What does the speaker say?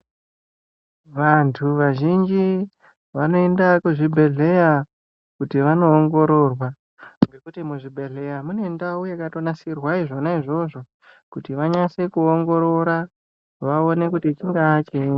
Vantu vazhinji vanoenda kuzvibhedhlera kuti vandoongororea nekuti muzvibhedhlera mune ndau yakannasirwa zvona izvozvo kuti vanyase kuongorora vaone kuti chingava chinyi.